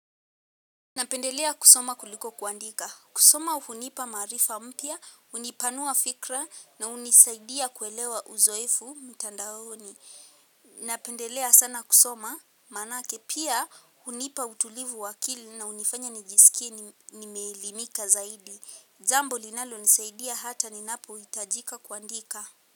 Napendelea kusoma kuliko kuandika. Kusoma unipa marifa mpya, unipanua fikra na unisaidia kuelewa uzoefu mtandaoni. Napendelea sana kusoma maanake pia unipa utulivu wakili na unifanya nijisikie ni melimika zaidi. Jambo linalo nisaidia hata ninapo hitajika kuandika.